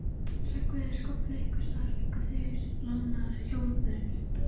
Hreggviður skóflu, einhversstaðar fengu þeir lánaðar hjólbörur.